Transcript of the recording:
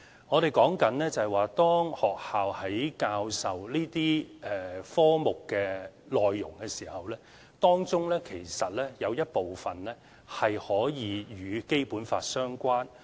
我們說的是，當學校教授這些科目內容的時候，當中有一部分可以與《基本法》相關。